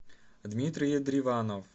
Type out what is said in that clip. дмитрий едриванов